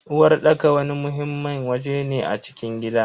Uwarɗaka wani muhimmin waje ne a cikin gida.